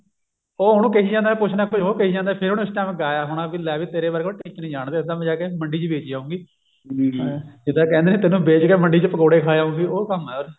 ਉਹ ਉਹਨੂੰ ਕਹਿ ਜਾਂਦਾ ਕੁਛ ਨਾ ਕੁਛ ਉਹ ਕਹਿ ਜਾਂਦਾ ਫ਼ੇਰ ਉਹਨੇ ਉਸ time ਗਾਇਆ ਹੋਣਾ ਵੀ ਲੈ ਵੀ ਤੇਰੇ ਜਿਹੇ ਨੂੰ ਟਿੱਚ ਨਹੀ ਜਾਂਦੇ ਅਸੀਂ ਜਾ ਕੇ ਮੰਡੀ ਚ ਵੇਚ ਆਉਂਗੀ ਉਹ ਤਾਂ ਕਹਿੰਦੇ ਨੇ ਤੈਨੂੰ ਵੇਚ ਕੇ ਮੰਡੀ ਚ ਪਕੋੜੇ ਖਾ ਆਉਂਗੀ ਉਹ ਕੰਮ ਹੈ